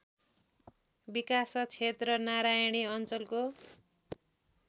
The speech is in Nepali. विकासक्षेत्र नारायणी अञ्चलको